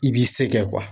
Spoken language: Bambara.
I b'i se kɛ